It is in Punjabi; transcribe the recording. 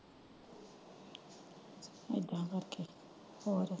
ਐਡਾ ਕਰਕੇ ਹੋਰ।